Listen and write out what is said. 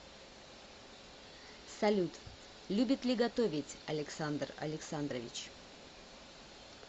салют любит ли готовить александр александрович